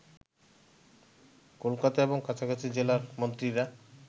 কলকাতা এবং কাছাকাছি জেলার মন্ত্রীরা